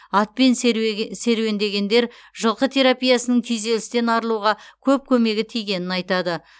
атпен серуендегендер жылқы терапиясының күйзелістен арылуға көп көмегі тигенін айтады